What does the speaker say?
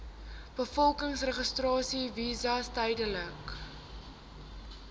bevolkingsregister visas tydelike